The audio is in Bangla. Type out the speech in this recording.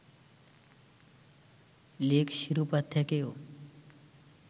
লিগ শিরোপা থেকেও